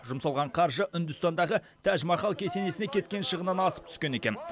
жұмсалған қаржы үндістандағы тәж махал кесенесіне кеткен шығыннан асып түскен екен